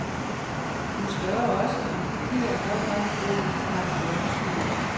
Hun spørger også, om papir er godt nok i bunden af papegøjens bur.